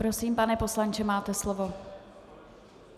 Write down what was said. Prosím, pane poslanče, máte slovo.